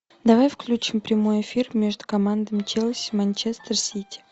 давай включим прямой эфир между командами челси манчестер сити